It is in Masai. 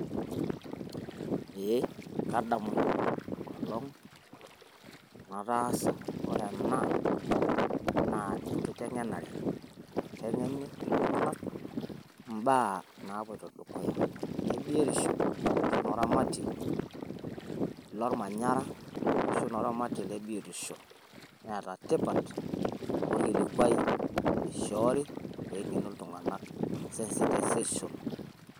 ee kadamu enkolong' natasa wore ena naa enkiteng'enare naiteng'eni iltunganak mbaa napoito dukuya nebiotisho arashu noramatie lolmanyara arashu oramatie netaa tipat amu olkilikuai oishori pengenu iltunganak sensitization